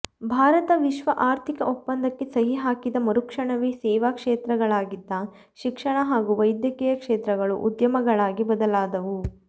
ಭಾರತ ವಿಶ್ವ ಆರ್ಥಿಕ ಒಪ್ಪಂದಕ್ಕೆ ಸಹಿ ಹಾಕಿದ ಮರುಕ್ಷಣವೆ ಸೇವಾ ಕ್ಷೇತ್ರಗಳಾಗಿದ್ದ ಶಿಕ್ಷಣ ಹಾಗೂ ವೈದ್ಯಕೀಯ ಕ್ಷೇತ್ರಗಳು ಉದ್ಯಮಗಳಾಗಿ ಬದಲಾದವು